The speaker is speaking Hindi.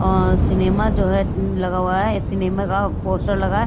सिनेमा जो है लगा हुआ है सिनेमा का पोस्टर लगा है ।